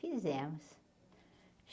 Fizemos.